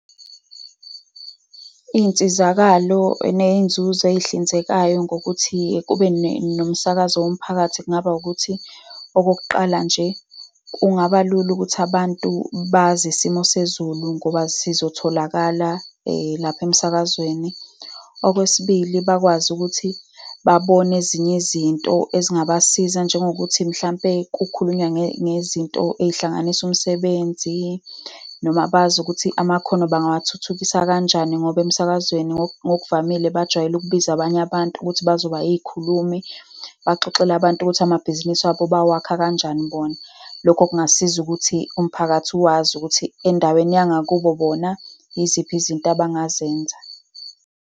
Iy'nsizakalo ney'nzuzo ezihlinzekayo ngokuthi kube nomsakazo womphakathi kungaba ukuthi, okokuqala nje, kungaba lula ukuthi abantu bazi isimo sezulu ngoba sizotholakala lapha emsakazweni. Okwesibili, bakwazi ukuthi babone ezinye izinto ezingabasiza, njengokuthi mhlampe kukhulunywa ngezinto ezihlanganisa umsebenzi, noma bazi ukuthi amakhono bangawathuthukisa kanjani, ngoba emsakazweni ngokuvamile bajwayele ukubiza abanye abantu ukuthi bazoba iy'khulumi, baxoxele abantu ukuthi amabhizinisi abo bawakha kanjani bona. Lokho kungasiza ukuthi umphakathi wazi ukuthi endaweni yangakubo bona yiziphi izinto abangazenza.